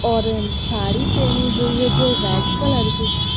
Orange sari पहनी हुई है जो रेड कलर की।